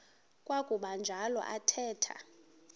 kwakuba njalo athetha